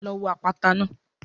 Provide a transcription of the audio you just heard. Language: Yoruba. Lọ wo àpáta náà.